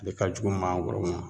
Ale ka jugu mangoro ma